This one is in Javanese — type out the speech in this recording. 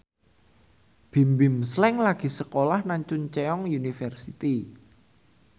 Bimbim Slank lagi sekolah nang Chungceong University